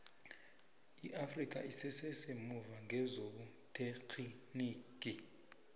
iafrikha isese semuva ngezobuterhinigi